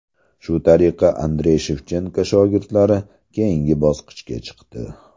Shu tariqa Andrey Shevchenko shogirdlari keyingi bosqichga chiqdi.